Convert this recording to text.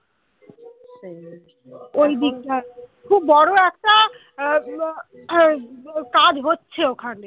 খুব বড় একটা আহ কাজ হচ্ছে ওখানে